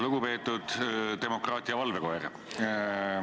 Lugupeetud demokraatia valvekoer!